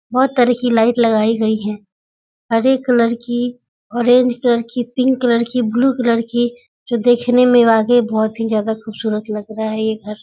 बहुत तरह की लाइट लगाई गईं है। हरे कलर की ऑरेंज कलर की पिंक कलर की ब्लू कलर की जो देखने में वाकई बहुत ही ज्यादा खूबसूरत लग रहा है ये घर।